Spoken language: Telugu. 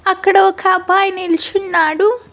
అక్కడ ఒక అబ్బాయి నిల్చున్నాడు.